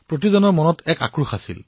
জনজনৰ হৃদয়ত এই আক্ৰোশ আছিল